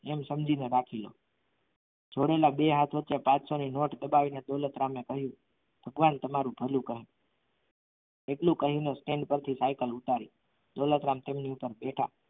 એમ સમજીને રાખી લો છોડેલા બે હાથ વચ્ચે પાંચસો ની નોટ લગાવીને દોલત રામે કહ્યું ભગવાન તમારું ભલું કરે એટલું કહીને stand ઉપર થી સાયકલ ઉતારી દોલતરામ તેમની ઉપર ભેતા